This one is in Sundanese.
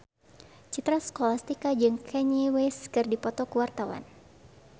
Citra Scholastika jeung Kanye West keur dipoto ku wartawan